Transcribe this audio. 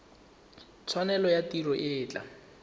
tshwanelo ya tiro e tla